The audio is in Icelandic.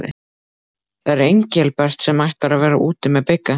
Það er Engilbert sem ætlar að vera úti með Bigga.